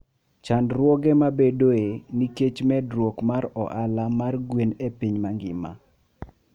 Chandruoge mabedoe nikech medruok mar ohala mar gwen e piny mangima.